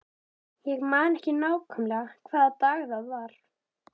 Ég man ekki nákvæmlega hvaða dag það var.